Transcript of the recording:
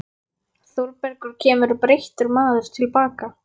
Þórbergur kemur breyttur maður til baka.